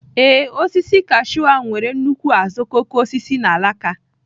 Ee, osisi kashụ ahụ nwere nnukwu azuokokoosisi na alaka.